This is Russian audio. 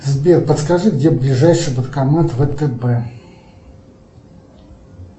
сбер подскажи где ближайший банкомат втб